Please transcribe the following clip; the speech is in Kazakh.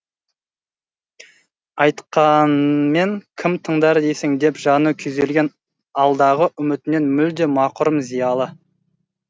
айтқанмен кім тыңдар дейсің деп жаны күйзелген алдағы үмітінен мүлде мақұрым зиялы